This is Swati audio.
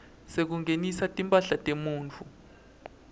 sekungenisa timphahla temuntfu